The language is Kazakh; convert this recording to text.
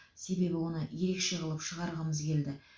себебі оны ерекше қылып шығарғымыз келді